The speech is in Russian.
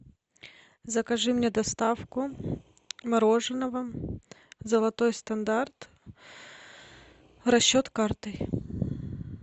закажи мне доставку мороженого золотой стандарт расчет картой